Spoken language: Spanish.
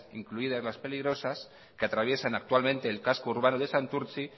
incluidas las peligrosas que atraviesan actualmente el casco urbano de santurtzi